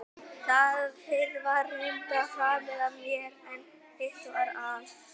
Það fyrra var reyndar framið af mér, en hitt var al